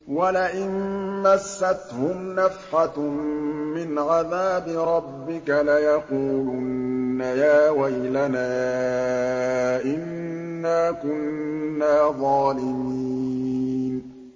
وَلَئِن مَّسَّتْهُمْ نَفْحَةٌ مِّنْ عَذَابِ رَبِّكَ لَيَقُولُنَّ يَا وَيْلَنَا إِنَّا كُنَّا ظَالِمِينَ